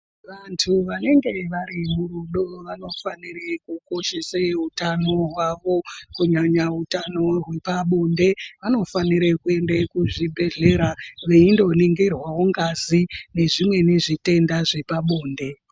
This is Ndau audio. Vandu vanenge varimurudo vanofanire kukoshese utano hwavo kunyanya utano hwepabonde vanofanire kuende kuzvibhedhlera veindoningirwe ngazi nezvimweni zvitenda zvepabonde